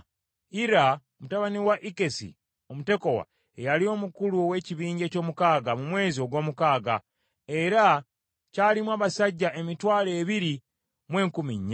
Ira mutabani wa Ikkesi Omutekowa ye yali omukulu ow’ekibinja eky’omukaaga mu mwezi ogw’omukaaga, era kyalimu abasajja emitwalo ebiri mu enkumi nnya.